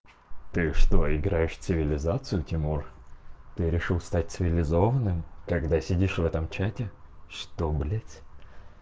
ты что играешь в цивилизацию тимур ты решил стать цивилизованным когда сидишь в этом чате что блядь